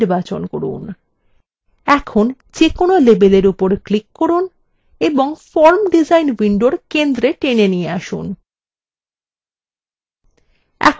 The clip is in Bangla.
এখন যেকোনো label উপর click করুন এবং form ডিজাইন window centre টেনে নিয়ে আসুন